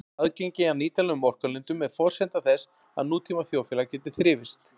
Aðgengi að nýtanlegum orkulindum er forsenda þess að nútíma þjóðfélag geti þrifist.